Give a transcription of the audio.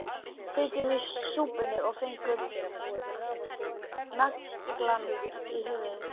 Sitjum í súpunni og fengum naglann í höfuðið